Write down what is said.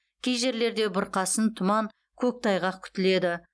кей жерлерде бұрқасын тұман көктайғақ күтіледі